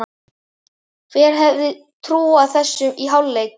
Hver hefði trúað þessu í hálfleik?